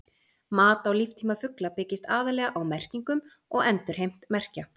Mat á líftíma fugla byggist aðallega á merkingum og endurheimt merkja.